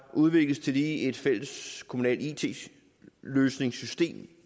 udvikles tillige et fælleskommunalt it løsningssystem